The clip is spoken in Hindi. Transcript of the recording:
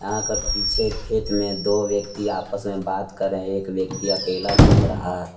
पीछे खेत में दो व्यक्ति आपस में बात कर रहे हैं एक व्यक्ति अकेला घूम रहा है।